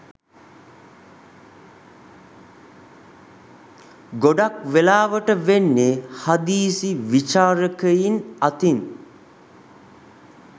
ගොඩක් වෙලාවට වෙන්නේ හදිසි විචාරකයින් අතින්